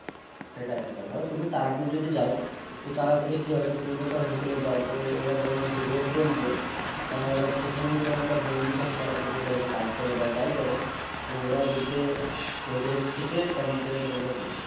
সেটাই সেটাই ধরো তুমি তারাপীঠ যদি যাও তো তারাপীঠ এ কি হবে তুমি যদি একটা Hotel এ যাও তো ওরা ধরো যে Rate বলবে এবার সেখানে যদি তোমার একটা বন্ধু থাকে তারাপীঠ এর লজে কাজ করে বা যাই করে তোরা দেখবে ওদের থেকে কম করে তোমাকে দিচ্ছে